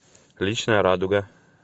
личная радуга